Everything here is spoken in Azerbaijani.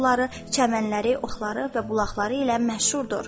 Bu dağ suları, çəmənləri, otlaqları və bulaqları ilə məşhurdur.